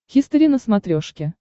хистори на смотрешке